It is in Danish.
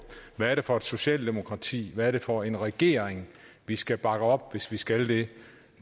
hvad det er for et socialdemokratiet hvad det er for en regering vi skal bakke op hvis vi skal det